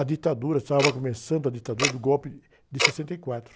A ditadura, estava começando a ditadura do golpe de, de sessenta e quatro...